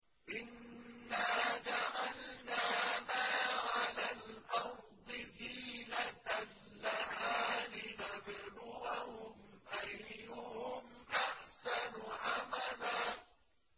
إِنَّا جَعَلْنَا مَا عَلَى الْأَرْضِ زِينَةً لَّهَا لِنَبْلُوَهُمْ أَيُّهُمْ أَحْسَنُ عَمَلًا